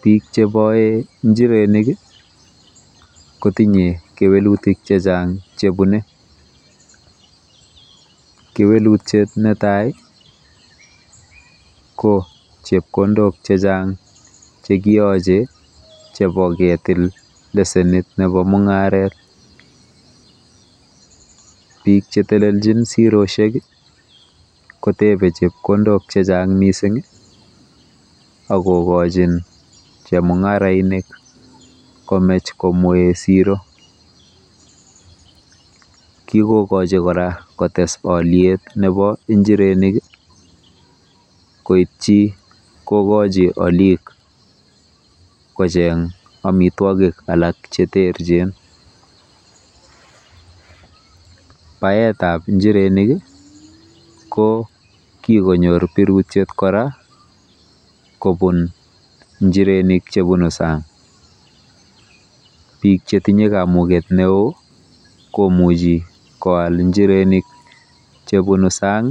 Bik cheboe njirenik kotinye kewelutik chechang chebune. Kewelutiet netai ko chepkondok chechang chekiyoche chebo ketil lesenit nebo mung'aret. Bik cheteljin siret kotebe chepkondok chechang mising akokochin chemung'arainik chechang komech komwee siro. Kikokochi kora kotes oliet nebo injirenik koitchi kokochi olik kocheng omitwogik alak cheterchin. Baetab injirenik kikonyor birutiet kora kobun njirenik chebunu sang. bik chetinye kamuket neo komuchi koal njirenik chebunu sang